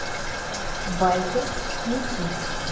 байкер включи